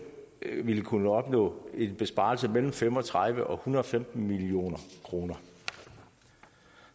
vil kunne opnå en besparelse på mellem fem og tredive og hundrede og femten million kroner